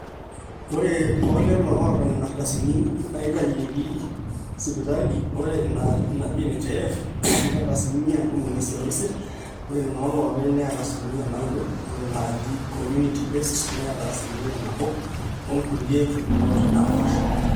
ore toolelo oota nena ardasini naaitaeheiki sipitali, ore ina naji nhif neeta asilimia ntomoni isiet oisiet, ore nena ooloopeny neeta asilimia naaudo, ore naaji comunity based neeta asilimia nabo. onkulie pukunot naapaasha